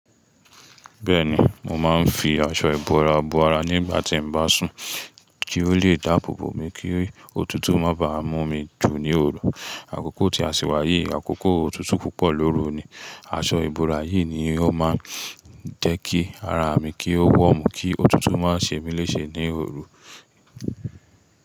Bẹ́ẹ̀ni, mo máa ń fi aṣọ ìbora bo ara nígbà tí ń bá sùn kí ó lè dáàbò bo mi kí òtútù má bà mú mi jù ní òru. Àkókò tí a ṣì wáyi, àkókò òtútù púpọ̀ lóru ni. Aṣọ ìbora yìí ni ó máa ń jẹ́ kí ara mi kí ó warm kí òtútù má ṣe mí léṣe ní òru.